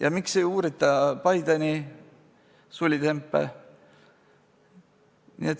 Ja miks ei uurita Bideni sulitempe?